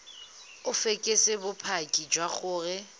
o fekese bopaki jwa gore